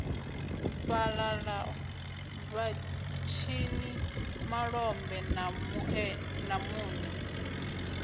fhalala vhatshini malombe na mune